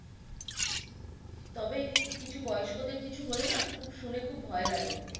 তবে কিছু বয়স্কদের কিছু হলে না খুব শুনে খুব ভয় লাগে।